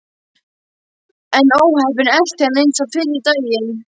En óheppnin elti hann eins og fyrri daginn.